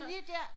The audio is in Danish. Lige der